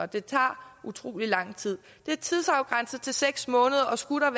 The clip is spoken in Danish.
de tager utrolig lang tid det er tidsafgrænset til seks måneder og skulle